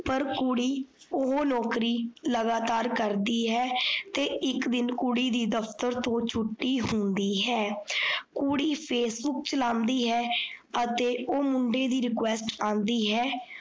ਪਰ ਕੁੜੀ ਓਹੋ ਨੋਕਰੀ ਲਗਾਤਾਰ ਕਰਦੀ ਹੈ। ਤੇ ਇੱਕ ਦਿਨ ਕੁੜੀ ਦੀ ਦਫ਼ਤਰ ਤੋਂ ਛੁੱਟੀ ਹੁੰਦੀ ਹੈ। ਕੁੜੀ facebook ਚਲਾਉਂਦੀ ਹੈ। ਅਤੇ ਓਹ ਮੁੰਡੇ ਦੀ request ਆਂਦੀ ਹੈ,